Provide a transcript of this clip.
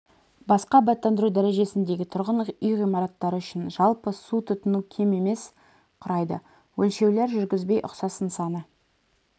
басқа абаттандыру дәрежесіндегі тұрғын үй ғимараттары үшін жалпы су тұтыну кем емес құрайды өлшеулер жүргізбей ұқсас нысаны